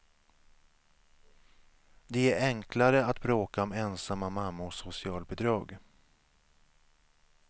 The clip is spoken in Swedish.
Det är enklare att bråka om ensamma mammors socialbidrag.